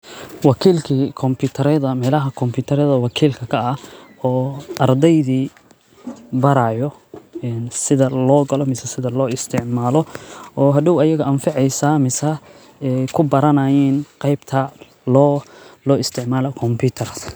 Wakiilkiii kompyuutareed oo meelaha kumbiyuutar wakiil ka ka ah oo ardaydi barayo in sida loo qolo misa sida loo isticmaalo oo hadho ayaga anfacyo misa ku baranayn qeybta loo loo isticmaalaa kumbiyuutar.